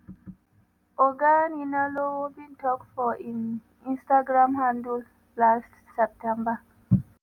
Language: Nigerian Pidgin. oga ninalowo bin tok for im instagram handle last september.